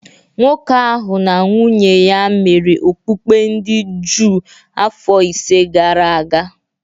Nwoke ahụ na nwunye ya mere okpukpe ndị Juu afọ ise gara aga